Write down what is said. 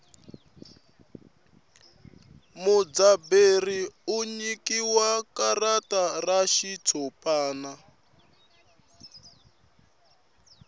mudzaberi u nyikiwa karata ra xitshopani